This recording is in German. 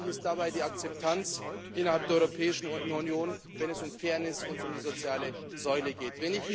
Unerlässlich ist dabei die Akzeptanz innerhalb der Europäischen Union, wenn es um Fairness und um die soziale Säule geht.